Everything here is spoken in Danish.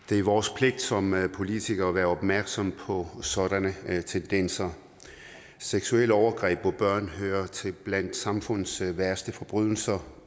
det er vores pligt som politikere at være opmærksomme på sådanne tendenser seksuelle overgreb mod børn hører til blandt samfundets værste forbrydelser